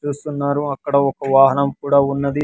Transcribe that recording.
చూస్తున్నారు అక్కడ ఒక వాహనం కూడా ఉన్నది.